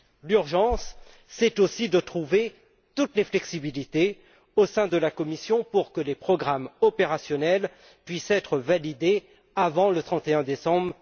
Il est urgent de trouver toutes les flexibilités au sein de la Commission afin que les programmes opérationnels puissent être validés avant le 31 décembre